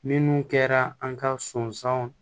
Minnu kɛra an ka sɔnsanw